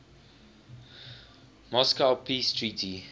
moscow peace treaty